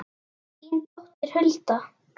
Þín dóttir, Hulda.